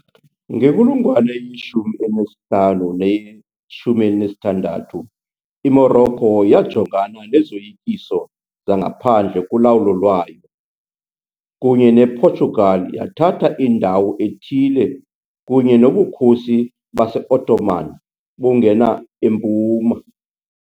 Ngenkulungwane ye-15 neye-16, iMorocco yajongana nezoyikiso zangaphandle kulawulo lwayo, kunye nePortugal yathatha indawo ethile kunye noBukhosi base-Ottoman bungena empuma.